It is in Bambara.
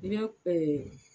I bɛ